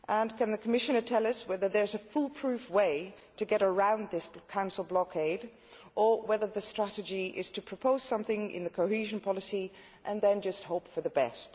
Can he also tell us whether there is a foolproof way to get around this Council blockade or whether the strategy is to propose something in the cohesion policy and then just hope for the best?